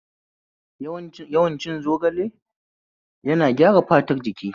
Yawan cin zogale yana gyara fatar jiki